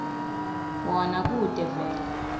wona kute kuvele